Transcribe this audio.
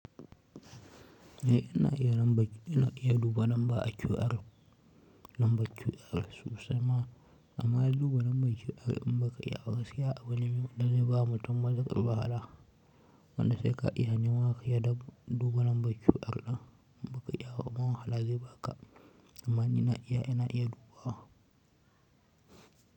Eh, ina iya duba lamba a QR sosai ma, amma duba lambar QR in baka iya ba, abu ne da zai ba mutun matukar wahala. Wanda sai ka iya Nawa ka ya duba lambar QR ɗin, baka iya ba kuma wahala zai baka amma ni na iya, ina iya dubawa.